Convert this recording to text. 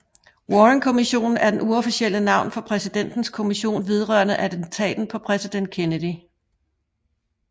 Warrenkommissionen er det uofficielle navn for Præsidentens kommission vedrørende attentatet på præsident Kennedy